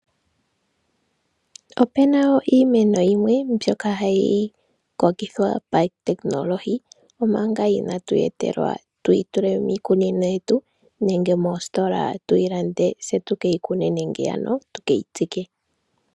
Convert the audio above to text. Opena wo iimeno yimwe mbyoka hayi kokithwa pawu tekinolohi, omanga inatu yi etelwa tuyi tule miikunino yetu, nenge moositola tuyi lande, se tu keyi kune nenge ano tu keyi tsike.